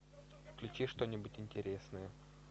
включи что нибудь интересное